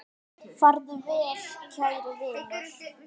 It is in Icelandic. Farðu vel kæri vinur.